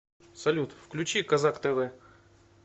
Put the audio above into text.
салют включи козак тэ вэ